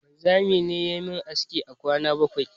Wanzami ne yayi mun aski a kwana bakwai